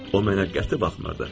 O mənə qəti baxmırdı.